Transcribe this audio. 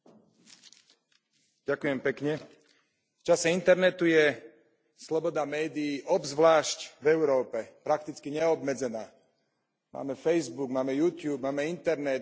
Pani predsedajúca, v čase internetu je sloboda médií, obzvlášť v Európe, prakticky neobmedzená. Máme facebook, máme youtube, máme internet, blogy, komentáre.